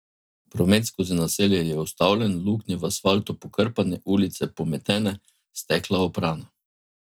Promet skozi naselje je ustavljen, luknje v asfaltu pokrpane, ulice pometene, stekla oprana.